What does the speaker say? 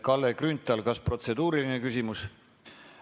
Kalle Grünthal, kas protseduuriline küsimus?